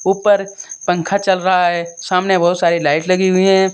ऊपर पंखा चल रहा है सामने बहुत सारी लाइट लगी हुई हैं।